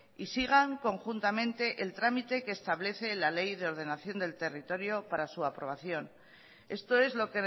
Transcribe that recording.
y sigan conjuntamente el trámite que establece la ley de ordenación del territorio para su aprobación esto es lo